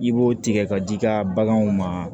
I b'o tigɛ ka di i ka baganw ma